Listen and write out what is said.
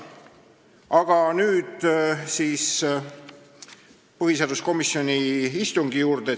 Aga nüüd siis põhiseaduskomisjoni istungi juurde.